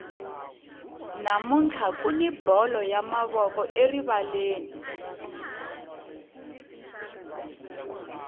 namuntlha kuni bolo ya mavoko erivaleni